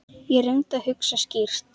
Ég reyndi að hugsa skýrt.